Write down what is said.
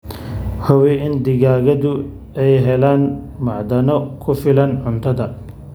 Hubi in digaagadu ay helaan macdano ku filan cuntada.